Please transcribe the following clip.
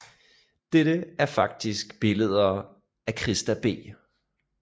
Dette er faktisk billeder af Christa B